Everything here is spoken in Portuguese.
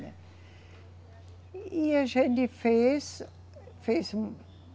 E, e a gente fez. Fez